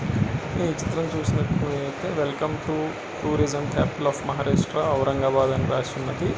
ఈ చిత్రం చూసినట్టు ఐతే welcome to tourism capital of Maharashtra Aurangabad అని రాసి ఉంది.